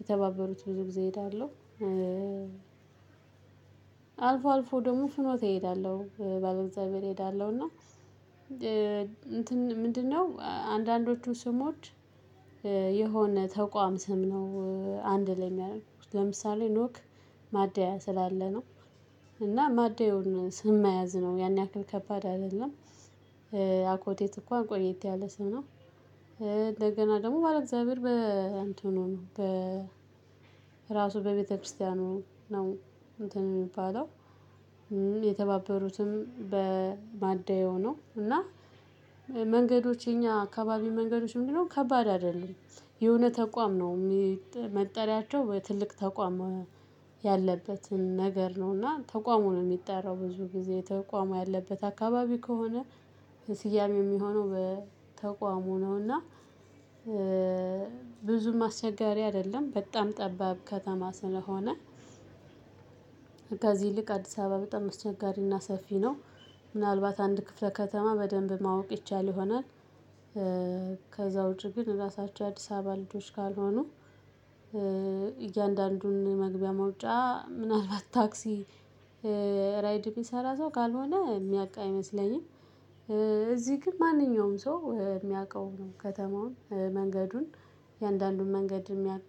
የተባበሩት ብዙ ጊዜ እሄዳለሁ። አልፎ አልፎ ደግሞ ፍኖት እሄዳለሁ ባለእግዛብሔር እሄዳለሁ እና እንትን ምንድነው? አንዳንዶቹ ስሞች የሆነ ተቋም ስም ነው። አንድ ላይ ያደረኩት ለምሳሌ ኖክ ማደያ ስላለ ነው። እና ማደያውን ስም መያዝ ነው ያን ያክል ከባድ አይደለም። አኮቴት እንኳን ቆየቴ ያለ ስም ነው። እንደገና ደግሞ ባለእግዚአብሔር በ እንትኑ ነው በ ራሱ በቤተክርስቲያኑ ነው እንትን የሚባለው። የተባበሩትም በማደያው ነው እና። መንገዶች የኛ አካባቢ መንገዶች ምንድነው ከባድ አይደለም። የሆነ ተቋም ነው መጠሪያቸው ትልቅ ተቋም ያለበትን ነገር ነው እና ተቋሙ ነው የሚጠራው ብዙ ጊዜ ተቋሙ ያለበት አካባቢ ከሆነ በስያሜ የሚሆነው በተቋሙ ነውና። ብዙም አስቸጋሪ አይደለም በጣም ጠባብ ከተማ ስለሆነ። ከዚህ ይልቅ አዲስ አበባ በጣም ስቸጋሪና ሰፊ ነው። ምናልባት አንድ ክፍለ ከተማ በደንብ ማወቅ ይቻል ይሆናል። ከዛው ዉጪ ግን ራሳቸው የአዲስ አበባ ልጆች ካልሆኑ እያንዳንዱን መግቢያ መውጫ ምናልባት ታክሲ ራይድ የሚሰራ ሰው ካልሆነ የሚያውቅ አይመስለኝም። እዚህ ግን ማንኛውም ሰው የሚያውቀው ነው ከተማውን መንገዱን እያንዳንዱን መንገድ የሚያውቅ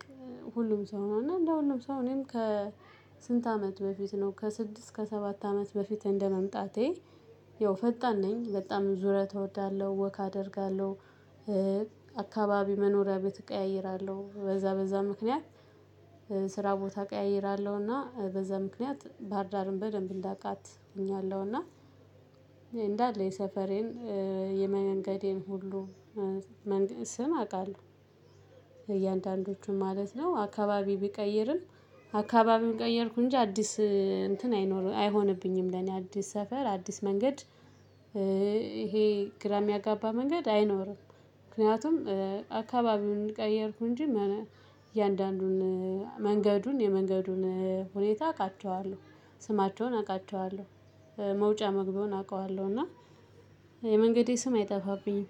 ሁሉም ሰው ነው። እና እንደሁሉም ሰው እኔም ከስንት አመት በፊት ነው ከስድስት ከሰባት አመት በፊት እንደመምጣቴ ያው ፈጣን ነኝ በጣም ዙረት እወዳለሁ ወክ አደርጋለሁ። አካባቢ መኖሪያ ቤት እቀያይራለሁ በዛ በዛ ምክንያት ስራ ቦታ እቀያይራለሁ እና በዛ ምክንያት ባህርዳርን በደንብ እንዳቃት ሆኛለሁና። እንዳለ የሰፈሬን የመንገዴን ሁሉ ስም አውቃለሁ። የእያንዳንዶቹን ማለት ነው አካባቢ ቢቀይርም አካባቢ ቀየርኩ እንጂ አዲስ እንትን አይኖርም አይሆንብኝም ለኔ አዲስ ሰፈር አዲስ መንገድ። ይሄ ግራ የሚያጋባ መንገድ አይኖርም። ምክንያቱም አካባቢዉን ቀየርኩ እንጂ የእያንዳንዱን መንገዱን የመንገዱን ሁኔታ አውቃቸዋለሁ ስማቸውን አውቃቸዋለሁ። መውጫ መግቢያውን አውቃለሁ እና የመንገዴ ስም አይጠፋብኝም